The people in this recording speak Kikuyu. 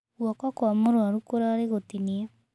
Guoko kwa mũrũaru kũrarĩ gũtinie.